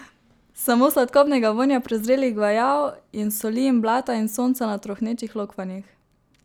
Samo sladkobnega vonja prezrelih gvajav in soli in blata in sonca na trohnečih lokvanjih.